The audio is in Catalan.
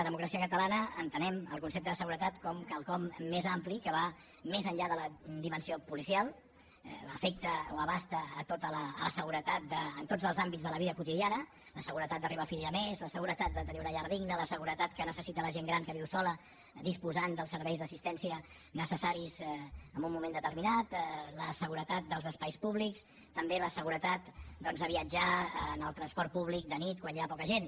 democràcia catalana entenem el concepte de seguretat com quelcom més ampli que va més enllà de la dimensió policial l’efecte abasta la seguretat en tots els àmbits de la via quotidiana la seguretat d’arribar a fi de mes la seguretat de tenir una llar digna la seguretat que necessita la gent gran que viu sola disposant dels serveis d’assistència necessaris en un moment determinat la seguretat dels espais públics també la seguretat de viatjar en el transport públic de nit quan hi ha poca gent